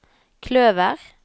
kløver